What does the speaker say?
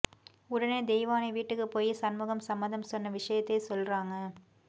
உடனே தெய்வானை வீட்டுக்கு போயி சண்முகம் சம்மதம் சொன்ன விஷயத்தை சொல்றாங்க